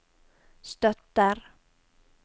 støtter